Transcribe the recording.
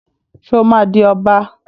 Só ma di Ọba?